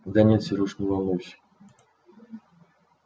да нет серёж не волнуйся